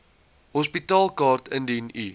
hospitaalkaart indien u